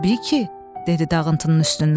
Təbii ki, dedi dağıntının üstündən.